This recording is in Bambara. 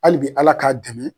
Hali bi Ala k'a dɛmɛ